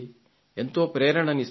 ఎంతో ప్రేరణనిస్తుంది